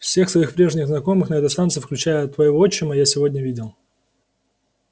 всех своих прежних знакомых на этой станции включая твоего отчима я сегодня видел